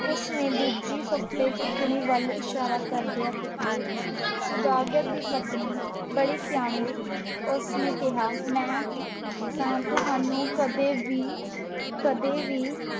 ਉਸ ਨੇ ਦੂਜੀ ਫੱਫੇ-ਕੁੱਟਣੀ ਵੱਲ ਇਸ਼ਾਰਾ ਕਰਦਿਆਂ ਕਿਹਾ। ਸੁਦਾਗਰ ਦੀ ਪਤਨੀ ਬੜੀ ਸਿਆਣੀ ਸੀ। ਉਸ ਨੇ ਕਿਹਾ, ਮੈਂ ਤਾਂ ਤੁਹਾਨੂੰ ਕਦੀ ਵੀ ਕਦੇ ਵੀ